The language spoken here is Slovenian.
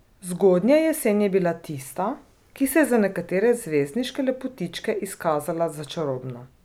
Zgodnja jesen je bila tista, ki se je za nekatere zvezdniške lepotičke izkazala za čarobno.